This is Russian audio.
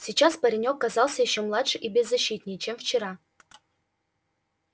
сейчас паренёк казался ещё младше и беззащитнее чем вчера